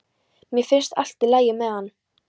Mér finnst allt í lagi með hann.